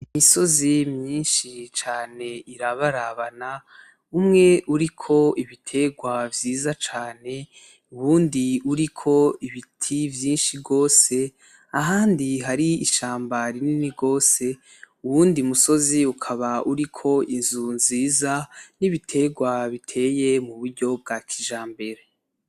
Imisozi myishi cane irabarabana, umwe uriko ibiterwa vyiza cane, uwundi uriko ibiti vyishi gose ahandi hari ishamba rinini gose, uwundi musozi ukaba uriko inzu nziza n'ibiterwa biteye mu buryo bwa kijambere.